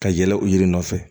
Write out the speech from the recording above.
Ka yɛlɛ o yiri nɔfɛ